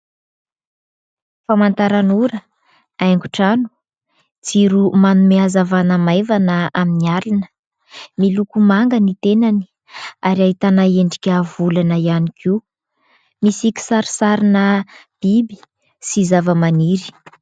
Famantaranora, haingon-trano, jiro manome hazavana maivana amin'ny alina. Miloko manga ny tenany ary ahitana endrika volana ihany koa. Misy kisarisarina biby sy zavamaniry.